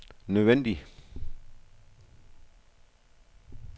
nødvendig